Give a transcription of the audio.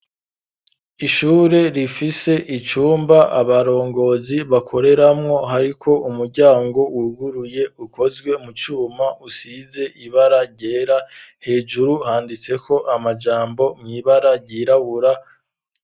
Ishure rifise icumba abarongozi bakoreramwo hariko umuryango wuguruye ukozwe mu cuma usize ibara ryera hejuru handitseko amajambo mw'ibara ryirabura.